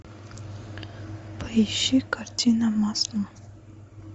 поищи картина маслом